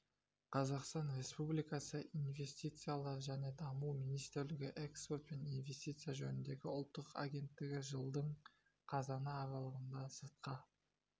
қазақстан республикасы инвестициялар және даму министрлігінің экспорт пен инвестиция жөніндегі ұлттық агенттігі жылдың қазаны аралығында сыртқы